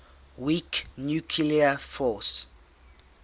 weak nuclear force